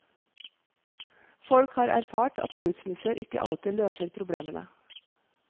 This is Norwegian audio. Folk har erfart at skilsmisser ikke alltid løser problemene.